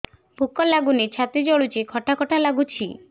ଭୁକ ଲାଗୁନି ଛାତି ଜଳୁଛି ଖଟା ଖଟା ଲାଗୁଛି